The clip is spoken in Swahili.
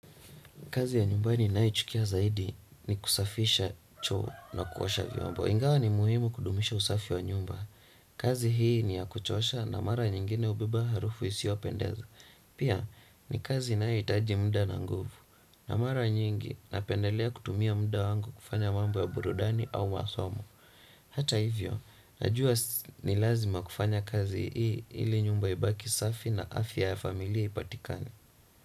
Kazi ya nyumbani ni nayo chukia zaidi ni kusafisha choo na kuosha vyombo. Ingawa ni muhimu kudumisha usafi wa nyumba. Kazi hii ni ya kuchosha na mara nyingine hubeba harufu isiyo pendeza. Pia ni kazi inayo hitaji muda na nguvu. Na mara nyingi napendelea kutumia muda wangu kufanya mambo ya burudani au masomo. Hata hivyo, najua ni lazima kufanya kazi hii ili nyumba ibaki safi na afya ya familia ipatikani.